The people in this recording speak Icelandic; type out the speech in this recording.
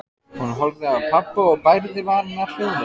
Hún horfði á pabba og bærði varirnar hljóðlaust.